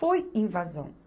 Foi invasão.